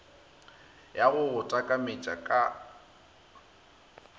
ya go go takametša ka